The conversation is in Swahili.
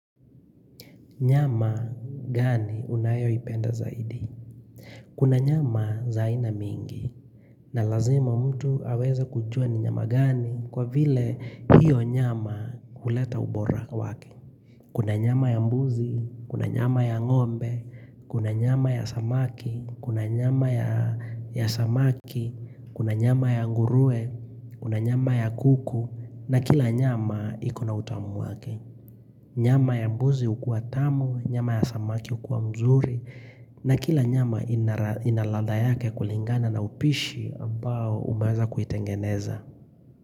Nyama gani unayo ipenda zaidi? Kuna nyama za aina mingi. Na lazima mtu aweza kujua ni nyama gani kwa vile hiyo nyama huleta ubora wake. Kuna nyama ya mbuzi, kuna nyama ya ng'ombe, kuna nyama ya samaki, kuna nyama ya samaki, kuna nyama ya nguruwe kuna nyama ya kuku na kila nyama iko na utamu wake. Nyama ya mbuzi hukua tamu, nyama ya samaki hukua mzuri na kila nyama ina ladha yake kulingana na upishi ambao umeweza kuitengeneza.